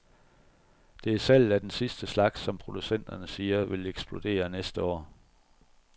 Det er salget af den sidste slags, som producenterne siger, vil eksplodere næste år.